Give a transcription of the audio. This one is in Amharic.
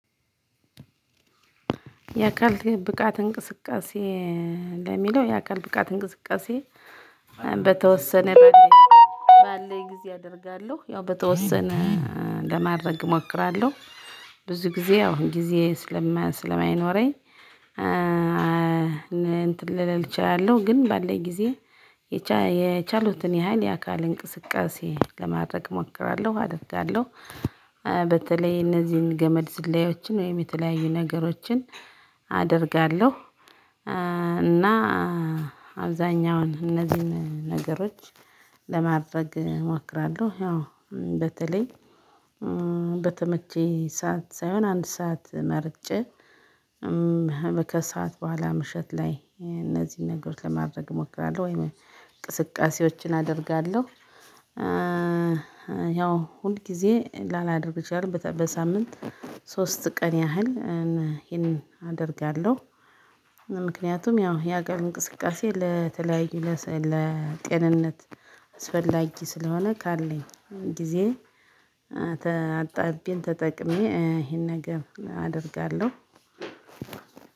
የአካል ብቃት እንቅስቃሴ ለሚለው የአካል ብቃት እንቅስቃሴ በተወሰነ ባለኝ ጊዜ አደርጋለሁ ያው በተወሰነ ለማድረግ እሞክራለሁ። ብዙ ጊዜ ያው ጊዜ ስለማይኖረኝ ልል እችላለው። ግን ባለኝ ጊዜ የቻሉትን ያህል የአካል እንቅስቃሴ ለማድረግ እሞክራለሁ አደርጋለሁ። በተለይ እነዚህን ገመድ ዝላዮችን ወይም የተለያዩ ነገሮችን አደርጋለሁ። እና አብዛኛውን እነዚህን ነገሮች ለማድረግ እሞክራለሁ። ያው በተለይ በተመቼ ሰዓት ሳይሆን አንድ ሰዓት መርጬ ከሰአት በኋላ ምሽት ላይ እነዚህን ነገሮች ለማድረግ እሞክራለሁ። ወይም እንቅስቃሴዎችን አደርጋለሁ። ያው ሁልጊዜ ላላደርግ እችላለሁ በሳምንት ሶስት ቀን ያህል ይህን አደርጋለሁ። ምክንያቱም ያው የአካል እንቅስቃሴ ለተለያዩ ለጤንነት አስፈላጊ ስለሆነ ካለኝ ጊዜ አጣብቤ ተጠቅሜ ይሄን ነገር አደርጋለሁ።